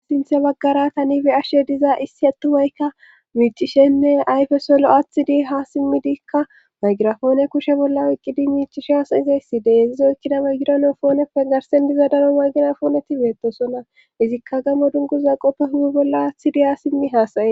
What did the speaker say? assinthe baggara tanibe ashshe diza issi attuhoykka miicishenne ayfesolo aathidi ha simmidiikka maygirafoone kushe bolla oyqqidi miicishe hasayizayssi deezizo ykkida ma gironofooneppe garsen diza daro mayginafooneti beettosonna izikka gamo dunguza qoppe hugu bolla aathidi ha simmi haasaye